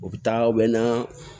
U bɛ taa u bɛ na